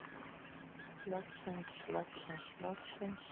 Loksins loksins loksins.